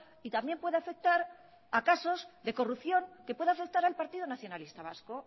y también puede afectar a casos de corrupción que pueda afectar al partido nacionalista vasco